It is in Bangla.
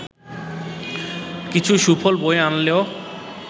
কিছু সুফল বয়ে আনলেও